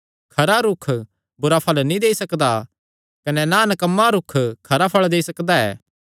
खरा रूख बुरा फल़ नीं देई सकदा कने ना नकम्मा रूख खरा फल़ देई सकदा ऐ